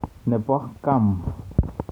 Nebo Guam.